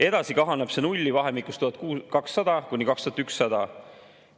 Edasi kahaneb see nulli vahemikus 1200–2100.